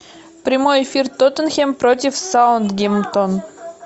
прямой эфир тоттенхэм против саутгемптон